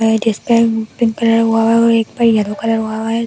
जिस पे pink colour हुआ है और एक पे येलो कलर हुआ है --